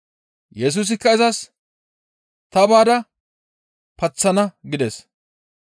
Yesusikka izas, «Ta baada paththana» gides.